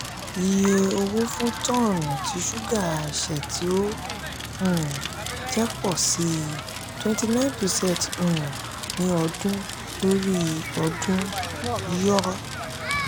iye owó fún tọ́ọ́nù ti suga aise tí ó um jẹ́ pọ si um twenty nine percent um ní ọdún lórí ọdún (yoy).